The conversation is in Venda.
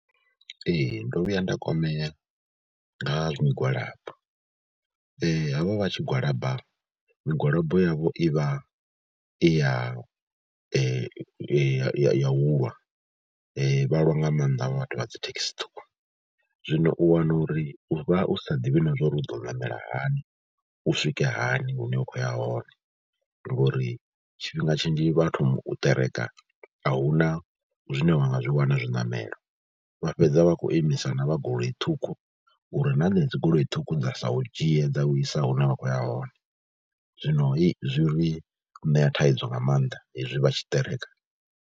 Ee, ndo vhuya nda kwamea nga migwalabo havha vha tshi gwalaba migwalabo yavho i vha i ya ya ya u lwa, vha lwa nga maanḓa havha vhathu vha dzi thekhisi ṱhukhu. Zwino u wana uri u vha u sa ḓivhi na zwa uri u do ṋamela hani, u swike hani hune wa khou ya hone ngori tshifhinga tshinzhi vha thoma u ṱereka a hu na zwine wa nga zwi wana zwiṋamelo. Vha fhedza vha khou imisa na vha goloi ṱhukhu uri na henedzi goloi ṱhukhu dza sa u dzhie dza u isa hune vha khou ya hone. Zwino zwi ri ṋea thaidzo nga maanḓa hezwi vha tshi ṱereka.